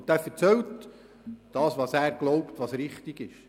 Und er erzählt dort das, wovon er glaubt, es sei richtig.